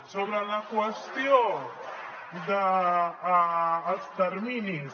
sobre la qüestió dels terminis